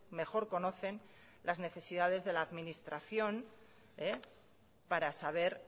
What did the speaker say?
mejor conocen las necesidades de la administración para saber